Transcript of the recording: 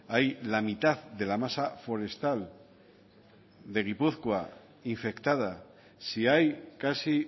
hay la mitad de la masa forestal de gipuzkoa infectada si hay casi